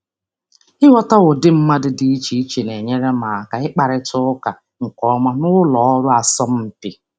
Ịghọta àgwà dị iche iche na-enyere m aka ikwurịta okwu nke ọma n'ụlọ ọrụ asọmpi.